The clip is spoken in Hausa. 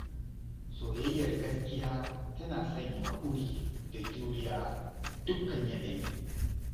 Soyayyar gaskiya tana sanya haƙuri da juriya a dukkan yanayi.